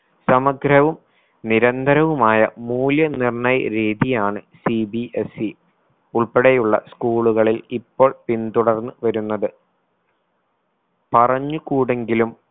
സമഗ്രവും നിരന്തരവുമായ മൂല്യ നിർണ്ണയ രീതിയാണ് CBSE ഉൾപ്പടെയുള്ള school കളിൽ ഇപ്പോൾ പിന്തുടർന്ന് വരുന്നത്. പറഞ്ഞുകൂടെങ്കിലും